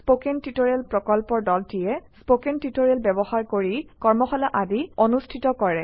spoken tutorial প্ৰকল্পৰ দলটিয়ে spoken tutorial ব্যৱহাৰ কৰি কৰ্মশালা আদি অনুষ্ঠিত কৰে